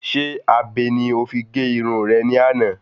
Sé abe ni o fi gé irun rẹ ní àná?